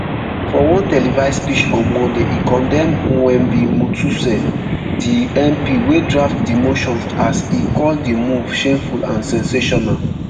for one televised speech on monday e condemn mwengi mutuse di mp wey draft di motion as e call di move shameful and sensational